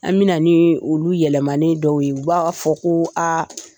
An bɛna ni olu yɛlɛmani dɔw ye fo a k'a fɔ aa